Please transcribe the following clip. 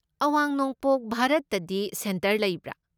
ꯑꯋꯥꯡ ꯅꯣꯡꯄꯣꯛ ꯚꯥꯔꯠꯇꯗꯤ ꯁꯦꯟꯇꯔ ꯂꯩꯕ꯭ꯔꯥ?